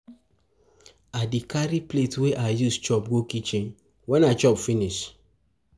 I dey carry plate wey I use chop go kichen wen I chop finish. chop finish.